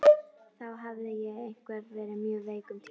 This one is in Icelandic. Þá hafði ég verið mjög veik um tíma.